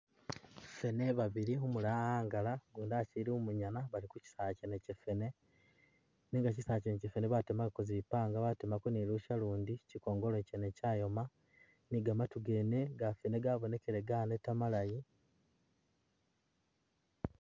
Feene babili, umulala wawangala ugundi asili umungana bali ku chisaala chene chafeene nenga chisaala chene chafeene batemakako zipanga batemako ni lusya lundi chikongolo chene chayoma ni gamatu gene gafeene gabonekele ganeta malayi